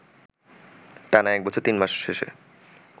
টানা এক বছর তিন মাস শেষে